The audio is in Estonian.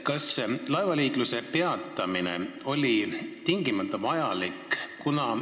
Kas laevaliikluse peatamine oli tingimata vajalik?